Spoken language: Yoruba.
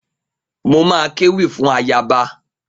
Mo ma kéwì fún ayaba.